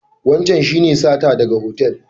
Wancan shi ne sata daga hotel?